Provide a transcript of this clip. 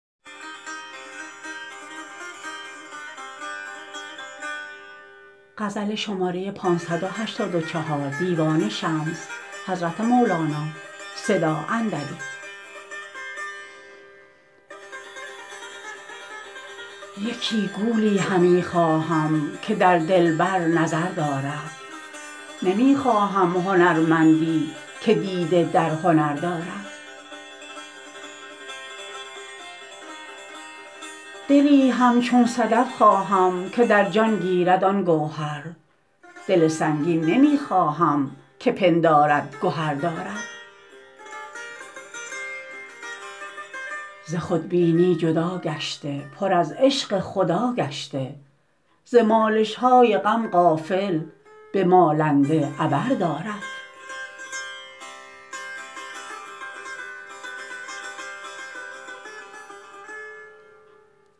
یکی گولی همی خواهم که در دلبر نظر دارد نمی خواهم هنرمندی که دیده در هنر دارد دلی همچون صدف خواهم که در جان گیرد آن گوهر دل سنگین نمی خواهم که پندار گهر دارد ز خودبینی جدا گشته پر از عشق خدا گشته ز مالش های غم غافل به مالنده عبر دارد